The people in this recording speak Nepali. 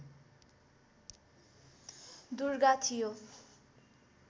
दुर्गा थियो